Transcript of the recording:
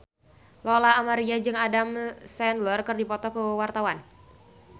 Lola Amaria jeung Adam Sandler keur dipoto ku wartawan